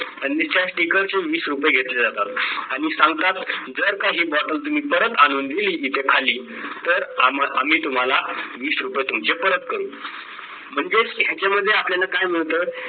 आणि त्या sticker चे वीस रुपय घेतले जातात आणि सांगतात जर का ही bottle तुम्ही परत आणून दिली इथे खाली तर आम्ही तुम्हाला वीस रुपय तुमचे परत करू म्हणजे ह्याच्या मध्ये आपल्याला काय मिळतं?